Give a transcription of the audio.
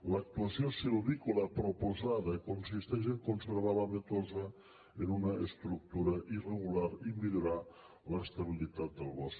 l’actuació silvícola proposada consisteix a conservar l’avetosa en una estructura irregular i millorar l’estabilitat del bosc